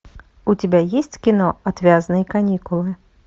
у тебя есть кино отвязные каникулы